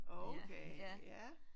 Okay ja